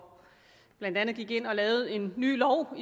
blandt andet gik ind og lavede en ny lov på